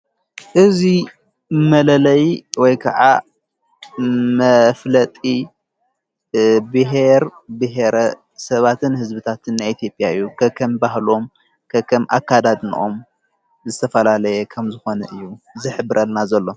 እዙይ መለለይ ወይ ከዓ መፍለጢ ብሔር ብሔረ ሰባትን ሕዝብታት ና ኤቲዬጵያ እዩ ከከም ባህሎም ከከም ኣካዳድ ኖኦም ዝተፈላለየ ከም ዝኾነ እዩ ዝኅብርልና ዘሎ።